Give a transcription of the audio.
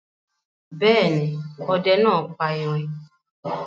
Bẹ́ẹ̀ ni, ọdẹ náà pa erin.